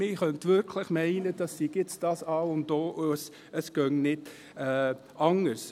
Man könnte tatsächlich meinen, das Zweirichtungstram sei das A und O, es gehe nicht anders.